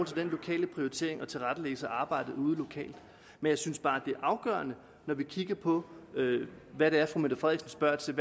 så den lokale prioritering og tilrettelæggelse af arbejdet ude lokalt jeg synes bare det er afgørende når vi kigger på hvad det er fru mette frederiksen